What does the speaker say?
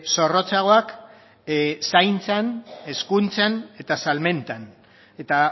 zorrotzagoak zaintzan hezkuntzan eta salmentan eta